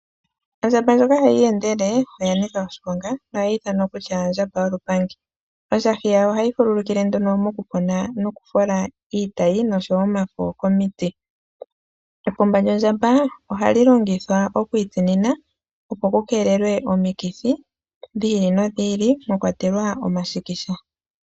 Ondjamba ndjoka hayi iyendele , oya nika oshiponga nohayi ithanwa kutya ondjamba yolupangi. Ondjahi yawo ohayi fulukile nduno mokufola iitayi noshowoo omafo komiti. Epumba lyondjamba ohali longithwa oku itsinina, opo ku keelelwe omikithi dhi ili nodhi ili mwakwatelwa omashikisha.